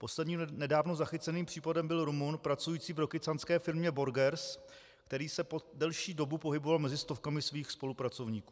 Posledním nedávno zachyceným případem byl Rumun pracující v rokycanské firmě Borgers, který se po delší dobu pohyboval mezi stovkami svých spolupracovníků.